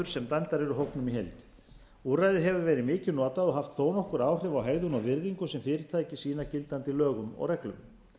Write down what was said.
sem dæmdar eru hópnum í heild úrræðið hefur verið mikið notað og haft þó nokkur áhrif á hegðun og virðingu sem fyrirtæki sýna gildandi lögum og reglum